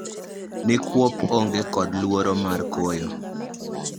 Ni kuop onge kod luoro mar koyo.